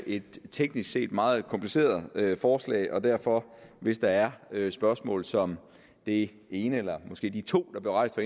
et teknisk set meget kompliceret forslag og derfor hvis der er spørgsmål som det ene eller måske de to der blev rejst